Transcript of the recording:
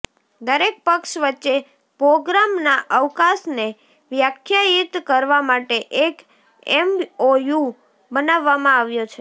દરેક પક્ષ વચ્ચે પ્રોગ્રામના અવકાશને વ્યાખ્યાયિત કરવા માટે એક એમઓયુ બનાવવામાં આવ્યો છે